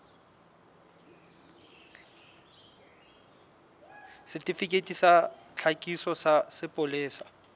setifikeiti sa tlhakiso sa sepolesa